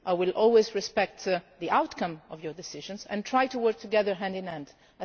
I will always respect the outcome of your decisions and try to work together hand in hand.